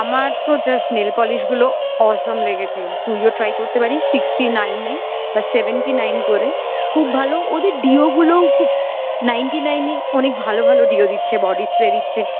আমার তো just nailpolish গুলো awesome লেগেছে তুইও try করতে পারিস sixty nine এ বা seventy nine করে খুব ভালো ওদের deo গুলোও খুব ninety nine এ অনেক ভালো ভালো deo দিচ্ছে body spray দিচ্ছে